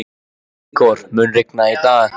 Ígor, mun rigna í dag?